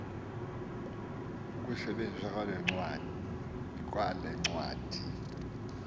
ukusetyenziswa kwale ncwadi